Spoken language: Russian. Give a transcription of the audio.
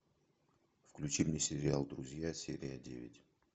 включи мне сериал друзья серия девять